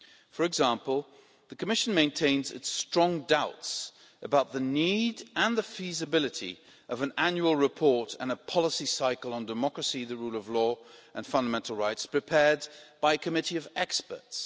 For example, the Commission maintains its strong doubts about the need for and the feasibility of an annual report and a policy cycle on democracy, the rule of law and fundamental rights, prepared by a committee of experts.